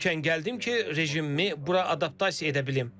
Erkən gəldim ki, rejimimi bura adaptasiya edə bilim.